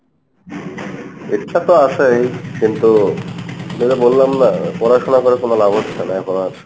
ইচ্ছা তো আসেই কিন্তু যেটা বললাম না পড়াশোনা করে কোনো লাভ হচ্ছে না এখন আর।